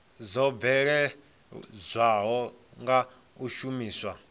dzo bveledzwaho nga u shumiswa